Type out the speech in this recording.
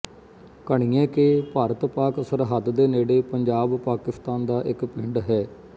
ਘਣੀਏ ਕੇ ਭਾਰਤਪਾਕ ਸਰਹੱਦ ਦੇ ਨੇੜੇ ਪੰਜਾਬ ਪਾਕਿਸਤਾਨ ਦਾ ਇੱਕ ਪਿੰਡ ਹੈ